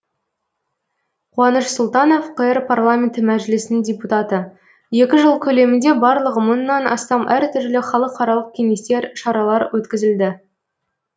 қуаныш сұлтанов қр парламенті мәжілісінің депутаты екі жыл көлемінде барлығы мыңнан астам әр түрлі халықаралық кеңестер шаралар өткізілді